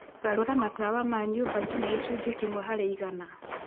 garũra matawa ma nyũmba nginya gĩcunjĩ kĩmwe harĩ igana